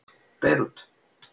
Beirút